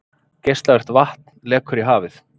Geislavirkt vatn lekur í hafið